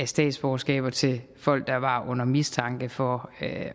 statsborgerskab til folk der var under mistanke for at